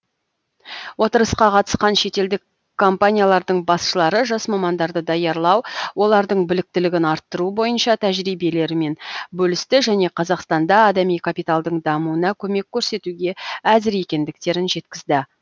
отырысқа қатысқан шетелдік компаниялардың басшылары жас мамандарды даярлау олардың біліктілігін арттыру бойынша тәжірибелерімен бөлісті және қазақстанда адами капиталдың дамуына көмек көрсетуге әзір екендіктерін жеткізді